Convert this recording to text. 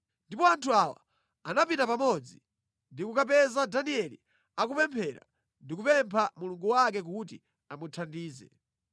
Ndipo anthu awa anapita pamodzi ndi kukapeza Danieli akupemphera ndi kupempha Mulungu wake kuti amuthandize.